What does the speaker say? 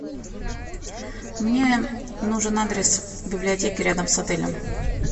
мне нужен адрес библиотеки рядом с отелем